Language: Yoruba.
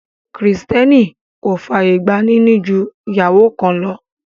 Kìrìtẹ́nì kò fàyè gba níní ju ìyàwó kan lọ